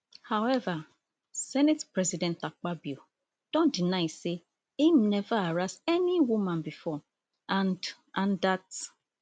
howeva senate president akpabio don deny say im neva harass any woman bifor and and dat